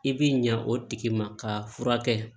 I bi ɲa o tigi ma ka furakɛ